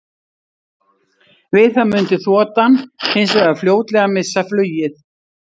Við það mundi þotan hins vegar fljótlega missa flugið.